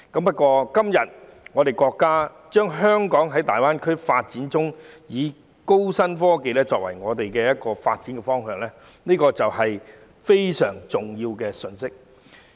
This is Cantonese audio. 不過，國家今天表明，在大灣區發展中，高新科技會成為香港的發展方向，這是一個非常重要的信息。